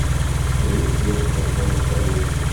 у тебя есть лента на краю стою